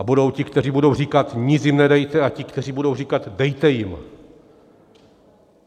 A budou ti, kteří budou říkat "nic jim nedejte", a ti, kteří budou říkat "dejte jim".